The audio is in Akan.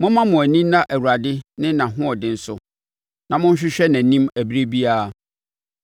Momma mo ani nna Awurade ne nʼahoɔden so; na monhwehwɛ nʼanim ɛberɛ biara.